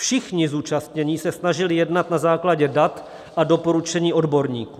Všichni zúčastnění se snažili jednat na základě dat a doporučení odborníků.